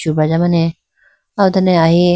subraja mane aw done ahi.